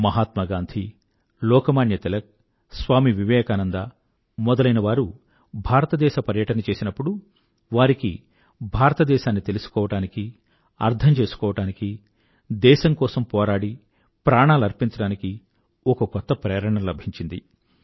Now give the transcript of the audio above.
మహాత్మా గాంధీ లోకమాన్య తిలక్ స్వామీ వివేకానంద మొదలైనవారు భారతదేశ పర్యటన చేసినప్పుడు వారికి భారతదేశాన్ని తెలుసుకోవడానికి అర్థం చేసుకోవడానికీ దేశం కోసం పోరాడి ప్రాణాలర్పించడానికి ఒక కొత్త ప్రేరణ లభించింది